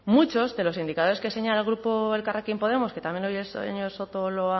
muchos de los indicadores que señala el grupo elkarrekin podemos que también hoy el señor soto